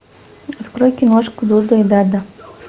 открой киношку дуда и дада